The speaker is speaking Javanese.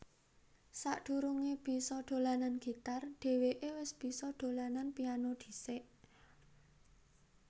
Sadurungé bisa dolanan gitar dhèwéké wis bisa dolanan piano dhisik